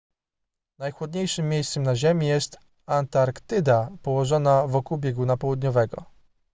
najchłodniejszym miejscem na ziemi jest antarktyda położona wokół bieguna południowego